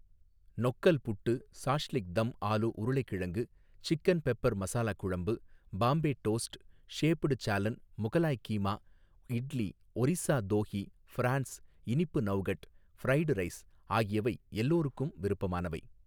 நொக்கல் puttu shashlik dum aloo உருளைக்கிழங்கு chicken pepper மசாலாக்குழம்பு Bombay toast shaped salan Mughlai keema idli Orissa தோஹி ஃப்ரான்ஸ் இனிப்பு நவ்கட் ஃபிரைடு ரைஸ் ஆகியவை எல்லாருக்கும் விருப்பமானவை.